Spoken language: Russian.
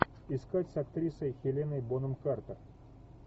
искать с актрисой хеленой бонем картер